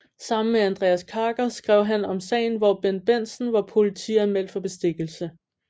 Sammen med Andreas Karker skrev han om sagen hvor Bendt Bendtsen var politianmeldt for bestikkelse